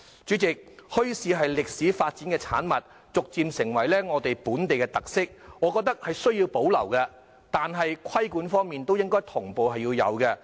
主席，墟市是歷史發展的產物，逐漸成為本地的特色，我認為需要保留，但同時應該要有規管。